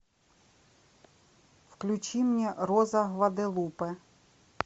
включи мне роза гваделупе